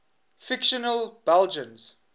fictional belgians